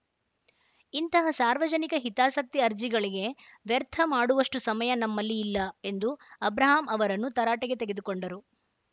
ಇಂತಹ ಸಾರ್ವಜನಿಕ ಹಿತಾಸಕ್ತಿ ಅರ್ಜಿಗಳಿಗೆ ವ್ಯರ್ಥ ಮಾಡುವಷ್ಟುಸಮಯ ನಮ್ಮಲ್ಲಿ ಇಲ್ಲ ಎಂದು ಅಬ್ರಹಾಂ ಅವರನ್ನು ತರಾಟೆಗೆ ತೆಗೆದುಕೊಂಡರು